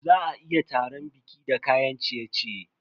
Za a iya taran baƙi da kayan ciye-ciye.